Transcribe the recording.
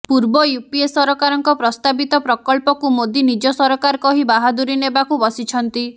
ପୂର୍ବ ୟୁପିଏ ସରକାରଙ୍କ ପ୍ରସ୍ତାବିତ ପ୍ରକଳ୍ପକୁ ମୋଦୀ ନିଜ ସରକାର କହି ବାହାଦୁରୀ ନେବାକୁ ବସିଛନ୍ତି